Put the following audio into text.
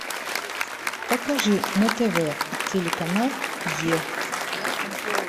покажи на тв телеканал е